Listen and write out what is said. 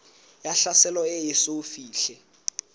ya tlhaselo e eso fihle